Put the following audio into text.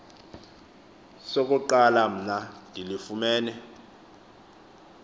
sokuqala mna ndilifumene